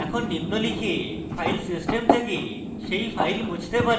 এখন নিম্ন লিখে file system থেকে সেই file মুছতে পারি